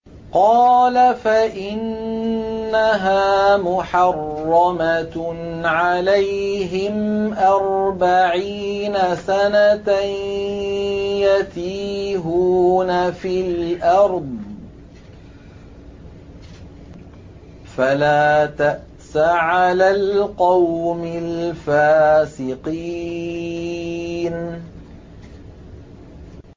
قَالَ فَإِنَّهَا مُحَرَّمَةٌ عَلَيْهِمْ ۛ أَرْبَعِينَ سَنَةً ۛ يَتِيهُونَ فِي الْأَرْضِ ۚ فَلَا تَأْسَ عَلَى الْقَوْمِ الْفَاسِقِينَ